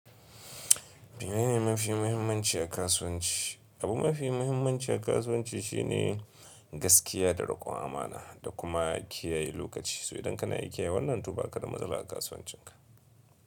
Abune ne mafi muhimmanci a kasuwanci. Abu mafi muhimmanci a kasuwanci shine gaskiya da riƙon amana da kuma kiyaye lokaci. So idan kana iya kiyaye wannan, to ba ka da matsala a kasuwancinka.